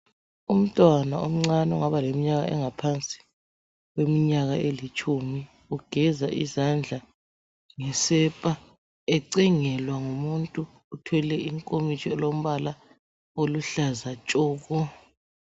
Umntwana omncane ongaba leminyaka engaphansi kweminyaka elitshumi ugeza izandla ngesepa ecengelwa ngumuntu othwele inkomitsho elombala oluhlaza tshoko.